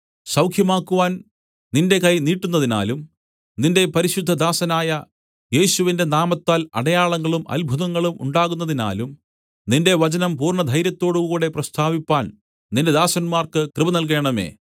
സൗഖ്യമാക്കുവാൻ നിന്റെ കൈ നീട്ടുന്നതിനാലും നിന്റെ പരിശുദ്ധദാസനായ യേശുവിന്റെ നാമത്താൽ അടയാളങ്ങളും അത്ഭുതങ്ങളും ഉണ്ടാകുന്നതിനാലും നിന്റെ വചനം പൂർണ്ണധൈര്യത്തോടുകൂടെ പ്രസ്താവിപ്പാൻ നിന്റെ ദാസന്മാർക്ക് കൃപ നല്കേണമേ